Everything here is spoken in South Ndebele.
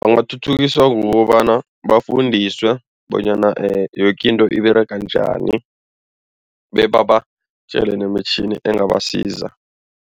Bangathuthukiswa kukobana bafundiswe bonyana yoke into iberega njani, bebabatjele nemitjhini engabasiza.